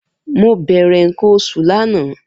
Mo bere nkan osu lana.